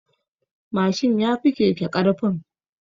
Mashin yafi keke ƙarfin.